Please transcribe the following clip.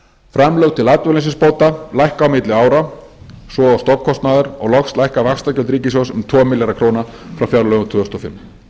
framlög til atvinnuleysisbóta lækka á milli ára svo og stofnkostnaður og loks lækka vaxtagjöld ríkissjóðs um tvo milljarða króna frá fjárlögum tvö þúsund og fimm